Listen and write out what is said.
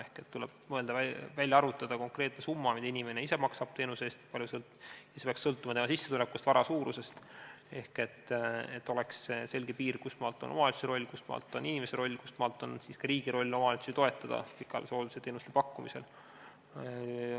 Ehk tuleb välja arvutada konkreetne summa, mida inimene ise maksab teenuse eest, ning see peaks sõltuma tema sissetulekust ja vara suurusest, et oleks selge piir, kustmaalt on omavalitsuse roll, kustmaalt on inimese roll, kustmaalt on riigi roll omavalitsusi toetada pikaajalise hoolduse teenuste pakkumisel.